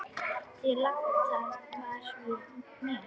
Þeir láta vara við mér.